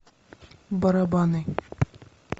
барабаны